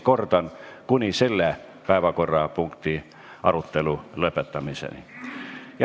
Kordan: kuni selle päevakorrapunkti arutelu lõpetamiseni.